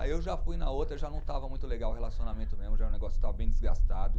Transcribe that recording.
Aí eu já fui na outra, já não estava muito legal o relacionamento mesmo, já o negócio estava bem desgastado.